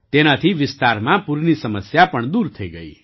તેનાથી વિસ્તારમાં પૂરની સમસ્યા પણ દૂર થઈ ગઈ